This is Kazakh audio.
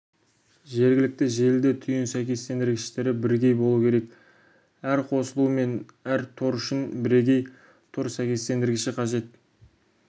жергілікті желіде түйін сәйкестенгіштері бірегей болу керек әр қосылу мен әр тор үшін бірегей тор сәйкестендіргіші қажет